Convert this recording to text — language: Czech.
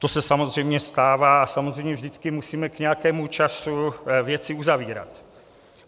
To se samozřejmě stává a samozřejmě vždycky musíme k nějakému času věci uzavírat.